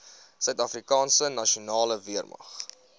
suidafrikaanse nasionale weermag